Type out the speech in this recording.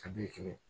A bɛ kɛmɛ